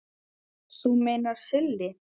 Þú meinar Silli?